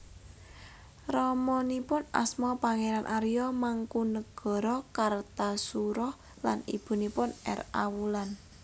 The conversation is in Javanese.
Ramanipun asma Pangeran Arya Mangkunagara Kartasura lan ibunipun R A Wulan